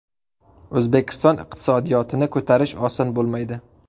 O‘zbekiston iqtisodiyotini ko‘tarish oson bo‘lmaydi.